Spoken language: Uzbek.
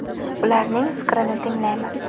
Ularning fikrini tinglaymiz.